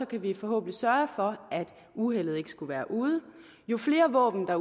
kan vi forhåbentlig sørge for at uheldet ikke skulle være ude jo flere våben der